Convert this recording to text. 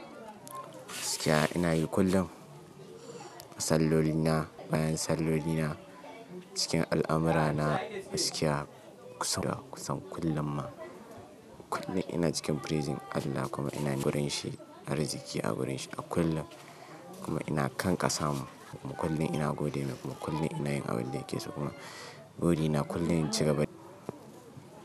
Gaskiya ina yi kullum. Sallolina na, bayan sallolina na, cikin al'amura na, gaskiya kusan kullum ma. Kullum ina cikin praising Allah kuma ina wurin shi, arziki a wurin shi a kullum. Kuma ina kan ƙasa mu kuma kullum ina gode mai kuma kullum ina yin abin da yake so kuma buri na kullum in ci gaba da.